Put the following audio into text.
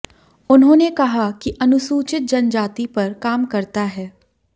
उन्होंने कहा कि अनुसूचित जनजाति पर काम करता है